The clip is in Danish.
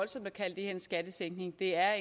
det er